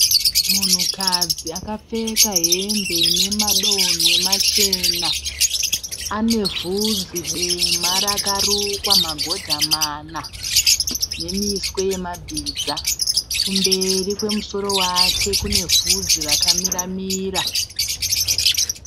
Munhukadzi akapfeka hembe ine madonhwe machena. Ane vhudzi dema rakarukwa magodha mana nemiswe yemabhiza. Kumberi kwemusoro wake kune vhudzi rakamira mira.